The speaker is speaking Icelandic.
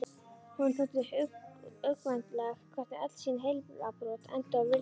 Honum þótti uggvænlegt hvernig öll sín heilabrot enduðu á villigötum.